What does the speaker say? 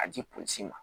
A di ma